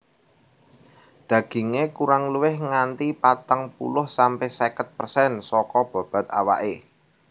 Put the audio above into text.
Dagingé kurang luwih nganti patang puluh sampe seket persen saka bobot awaké